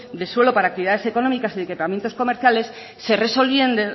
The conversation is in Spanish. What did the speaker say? de suelo para actividades económicas y de equipamientos comerciales